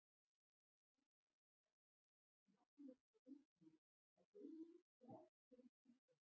Hins vegar sjást oft takmörkuð einkenni á beinum þrátt fyrir sjúkdóma.